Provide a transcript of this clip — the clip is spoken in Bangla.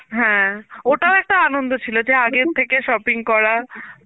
হ্যাঁ ওটাও একটা আনন্দ ছিল যে আগের থেকে shopping করা,